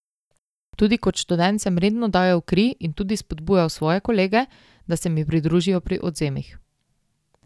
Tudi kot študent sem redno dajal kri in tudi spodbujal svoje kolege, da se mi pridružijo pri odvzemih.